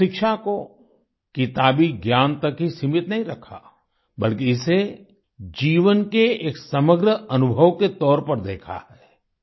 हमने शिक्षा को किताबी ज्ञान तक तक ही सीमित नहीं रखा बल्कि इसे जीवन के एक समग्र अनुभव के तौर पर देखा है